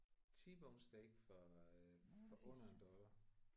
T-bone steak for øh for under en dollar